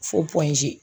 Fo